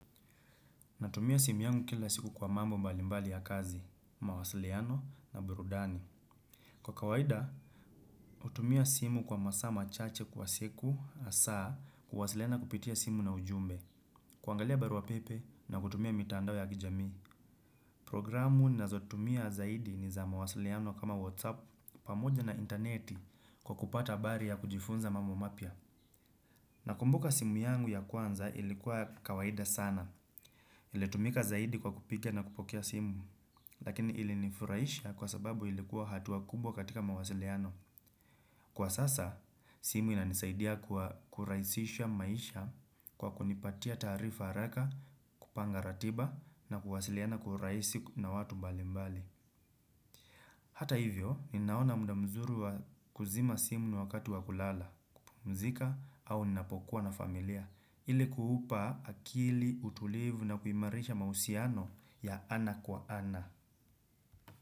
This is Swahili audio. Natumia simu yangu kila siku kwa mambo mbali mbali ya kazi, mawasiliano na burudani. Kwa kawaida, utumia simu kwa masaa machache kwa siku asaa kuwasiliana kupitia simu na ujumbe. Kuangalia barua pepe na kutumia mitandao ya kijamii. Programu nazotumia zaidi ni za mawasiliano kama whatsapp pamoja na intaneti kwa kupata bari ya kujifunza mambo mapya. Nakumbuka simu yangu ya kwanza ilikuwa kawaida sana. Ilitumika zaidi kwa kupiga na kupokea simu. Lakini ili nifuraisha kwa sababu ilikuwa hatua kubwa katika mawasiliano. Kwa sasa, simu inanisaidia kwa kurahisisha maisha kwa kunipatia taarifa haraka, kupanga ratiba na kuwasiliana kwa urahisi na watu mbali mbali. Hata hivyo, ninaona muda mzuri kuzima simu ni wakati wa kulala, pumzika au ninapokuwa na familia ili kuupa akili utulivu na kuimarisha mahusiano ya ana kwa ana.